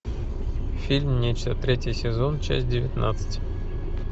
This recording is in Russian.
фильм нечто третий сезон часть девятнадцать